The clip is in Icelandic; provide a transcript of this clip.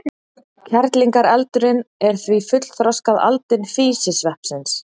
Kerlingareldurinn er því fullþroskað aldin físisveppsins.